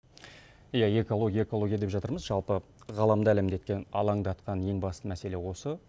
иә экология экология деп жатырмыз жалпы ғаламды алаңдатқан ең басты мәселе осы